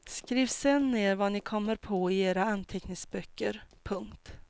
Skriv sen ner vad ni kommer på i era anteckningsböcker. punkt